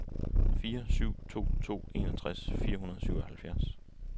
fire syv to to enogtres fire hundrede og syvoghalvfjerds